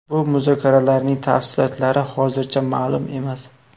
Bu muzokaralarning tafsilotlari hozircha ma’lum emas.